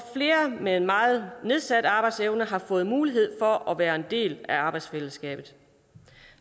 med meget nedsat arbejdsevne har fået mulighed for at være en del af arbejdsfællesskabet